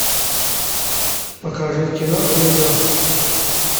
покажи кино гринго